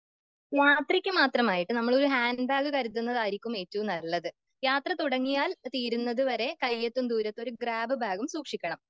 യാത്രക്ക് മാത്രമായിട്ട് നമ്മള് ഒരു ഹാൻഡ്ബാഗ് കരുതുന്നതായിരിക്കും ഏറ്റവും നല്ലത്.യാത്ര തുടങ്ങിയാൽ തീരുന്നത് വരെ കയ്യെത്തും ദൂരത്ത് ഒരു ഗ്രാബ് ബാഗും സൂക്ഷിക്കണം.